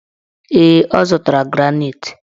Ee, ọ zụtara granaitị.